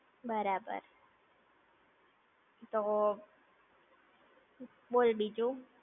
બરાબર. તો, બોલ બીજું?